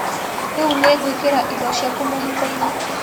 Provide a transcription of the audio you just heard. Rĩũ nĩngũĩkĩra indo ciaku mũhukoinĩ.